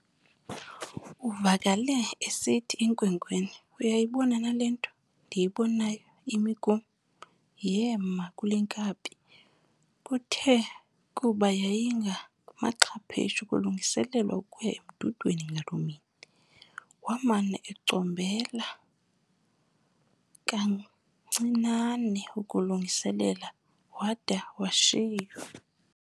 Uvakele esithi enkwenkweni, "Uyayibona na le nto ndiyibonayo imi kum, yema kule nkabi?". Kuthe kuba yayingamaxhaphetsu kulungiselelwa ukuya emdudweni ngaloo mini, wamane ecombela kancinane ukulungiselela wada washiywa.